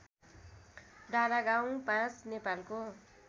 डाँडागाउँ ५ नेपालको